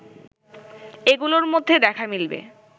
এগুলোর মধ্যে দেখা মিলবে